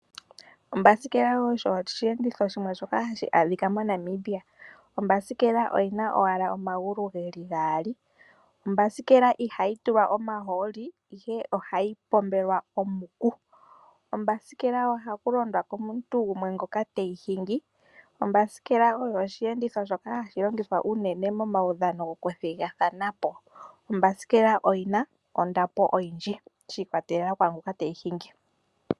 Ombasikela osho osheendito shimwe shoka hashi adhika moNamibia. Ombasikela oyi na owala omagulu ge li gaali. Ombasikela ihayi tulwa omahooli, ihe ohayi pombelwa omuku. Kombasikela ohaku londwa komuntu gumwe ngoka te yi hingi. Ombasikela oyo osheenditho hashi longithwa unene momaudhano gokuthigathanapo. Ombasikela oyi na ondapo oyindji shi ikwatelela kwaa ngoka te yi hingi.